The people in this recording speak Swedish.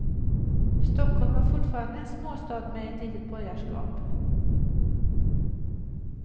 Stockholm var fortfarande en småstad med ett litet borgarskap.